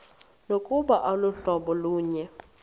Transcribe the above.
nokuba aluhlobo lunye